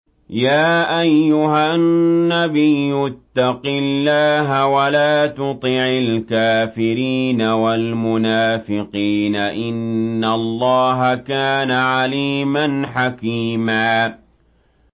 يَا أَيُّهَا النَّبِيُّ اتَّقِ اللَّهَ وَلَا تُطِعِ الْكَافِرِينَ وَالْمُنَافِقِينَ ۗ إِنَّ اللَّهَ كَانَ عَلِيمًا حَكِيمًا